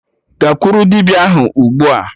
Gakwuru dibịa ahụ ugbua!